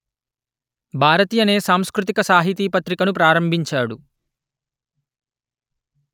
భారతి అనే సాంస్కృతిక సాహితీ పత్రికను ప్రారంభించాడు